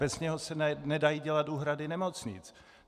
Bez něj se nedají dělat úhrady nemocnic.